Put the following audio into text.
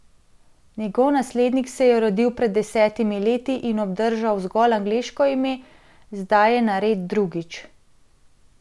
Njegov naslednik se je rodil pred desetimi leti in obdržal zgolj angleško ime, zdaj je nared drugič.